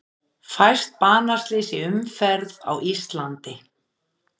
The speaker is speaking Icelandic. Fæst banaslys í umferð á Íslandi